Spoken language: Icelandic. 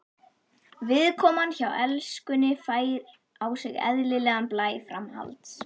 Viðkoman hjá Elskunni fær á sig eðlilegan blæ framhalds.